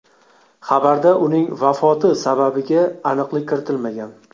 Xabarda uning vafoti sababiga aniqlik kiritilmagan.